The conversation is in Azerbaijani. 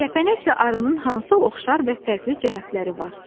Kəpənəklə arının hansı oxşar və fərqli cəhətləri var?